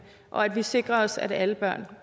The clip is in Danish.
og at vi sikrer os at alle børn